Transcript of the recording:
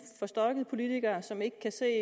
forstokket politiker som ikke kan se